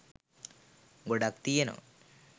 ගොඩක් තියනවා.